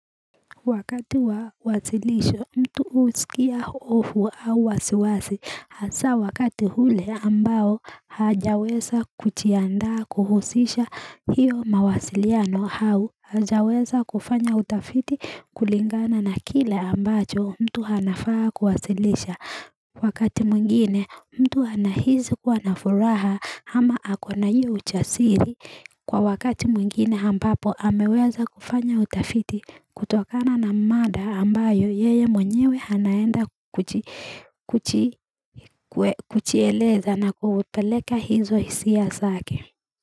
Wakati wa wasilisho mtu husikia hofu au wasiwasi hasaa wakati hule ambao hajaweza kuchiandaa kuhusisha hiyo mawasiliano hau hajaweza kufanya utafiti kulingana na kile ambacho mtu hanafaa kuwasilisha Wakati mwingine mtu anahizi kuwa na furaha ama akona hiyo uchasiri Kwa wakati mwingine hambapo ameweza kufanya utafiti kutokana na mada ambayo yeye mwenyewe anaenda kuchieleza na kupeleka hizo hisia zake.